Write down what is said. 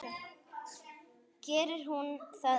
Gerir hún það enn?